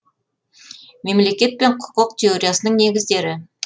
мемлекет пен құқық теориясының негіздері